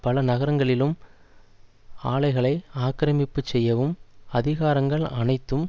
பல நகரங்களிலும் ஆலைகளை ஆக்கிரமிப்புச் செய்யவும் அதிகாரங்கள் அனைத்தும்